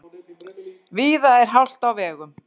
Víða er hált á vegum